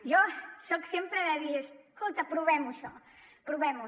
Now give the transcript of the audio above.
jo soc sempre de dir escolta provem ho això provem ho